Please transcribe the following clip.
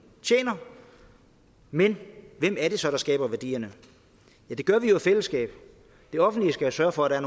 tjener men hvem er det så der skaber værdierne det gør vi jo i fællesskab det offentlige skal sørge for at der